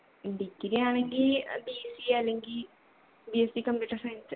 degree ആണെങ്കി BSC അല്ലെങ്കി BSCcomputer science